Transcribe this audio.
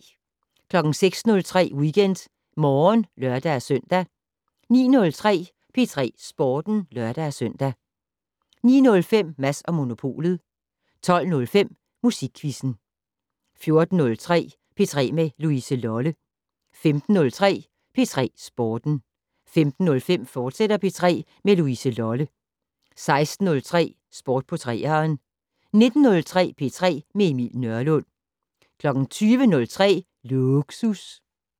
06:03: WeekendMorgen (lør-søn) 09:03: P3 Sporten (lør-søn) 09:05: Mads & Monopolet 12:05: Musikquizzen 14:03: P3 med Louise Lolle 15:03: P3 Sporten 15:05: P3 med Louise Lolle, fortsat 16:03: Sport på 3'eren 19:03: P3 med Emil Nørlund 20:03: Lågsus